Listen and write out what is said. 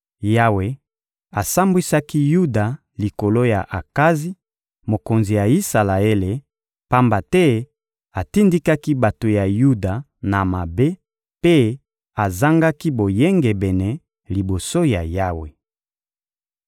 Yawe asambwisaki Yuda likolo ya Akazi, mokonzi ya Isalaele, pamba te atindikaki bato ya Yuda na mabe mpe azangaki boyengebene liboso ya Yawe.